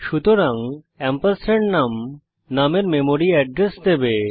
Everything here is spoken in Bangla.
সুতরাং এম্পারস্যান্ড নুম নুম এর মেমরি এড্রেস দেবে